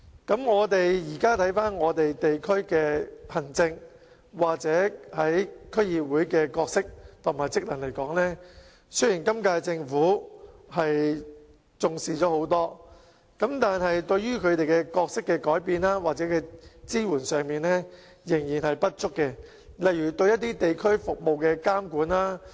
對於現時的地區行政，又或是區議會的角色和職能，雖然今屆政府已較以往重視，但對於它們角色的改變或支援方面仍然做得不足，例如對一些地區服務的監管。